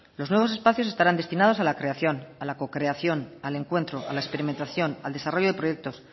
los nuevos espacios estarán destinados a la creación a la cocreación al encuentro a la experimentación al desarrollo de proyectos